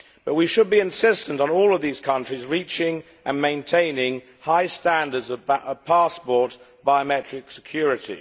But we should be insistent on all of these countries reaching and maintaining high standards of passport biometric security.